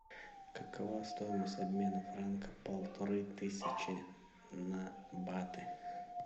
какова стоимость обмена франка полторы тысячи на баты